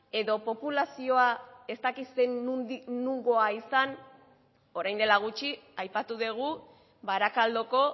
edo populazioa ez dakit nongoa izan orain dela gutxi aipatu dugu barakaldoko